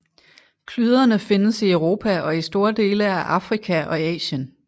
Klyderne findes i Europa og i store dele af Afrika og Asien